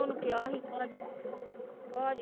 ਉਹਨੂੰ ਕਿਹਾ ਸੀ ਭਾਜੀ ਭਾਜੀ